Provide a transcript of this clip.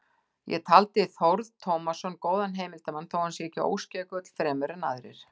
Ég taldi Þórð Tómasson góðan heimildarmann, þó ekki sé hann óskeikull fremur en aðrir.